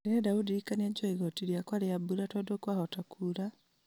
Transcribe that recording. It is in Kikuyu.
ndĩrenda ũndirikanie njoe igoti rĩakwa rĩa mbura tondũ kwahota kuura